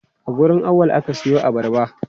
A wurin Auwal ka siyo abarba?